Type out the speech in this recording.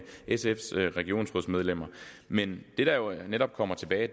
sfs regionsrådsmedlemmer men det der jo netop kommer tilbage